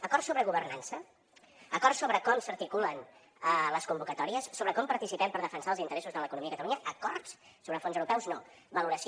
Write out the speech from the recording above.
acords sobre governança acords sobre com s’articulen les convocatòries sobre com participem per defensar els interessos de l’economia a catalunya acords sobre fons europeus no valoració